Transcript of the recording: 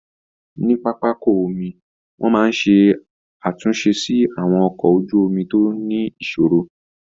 Ní pápákọ omi, wọn máa ń ṣe àtúnṣe sí àwọn ọkọ̀ ojú omi tó ní ìṣòro